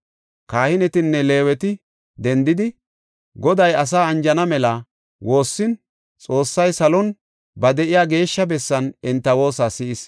Kahinetinne Leeweti dendidi, Goday asaa anjana mela woossin Xoossay salon, ba de7iya geeshsha bessan enta woosa si7is.